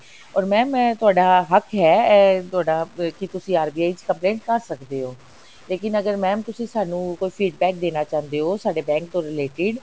or mam ਇਹ ਤੁਹਾਡਾ ਹੱਕ ਹੈ ਇਹ ਤੁਹਾਡਾ ਕਿ ਤੁਸੀ RBI ਚ complaint ਕਰ ਸਕਦੇ ਹੋ ਲੇਕਿਨ ਅਗਰ mam ਤੁਸੀਂ ਸਾਨੂੰ feedback ਦੇਣਾ ਚਾਹੁੰਦੇ ਹੋ ਸਾਡੇ bank ਤੋਂ related